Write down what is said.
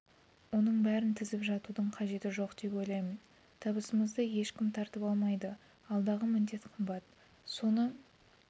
оның бәрін тізіп жатудың қажеті жоқ деп ойлаймын табысымызды ешкім тартып алмайды алдағы міндет қымбат соны